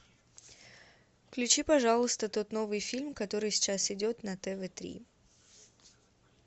включи пожалуйста тот новый фильм который сейчас идет на тв три